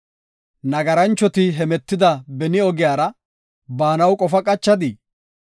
Nagaranchoti hemetida beni ogiyara baanaw qofaa qachadii?